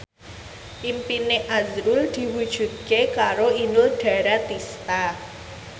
impine azrul diwujudke karo Inul Daratista